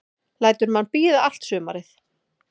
Lætur mann bíða allt sumarið.